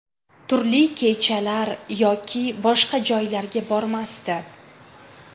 Turli kechalar yoki boshqa joylarga bormasdi.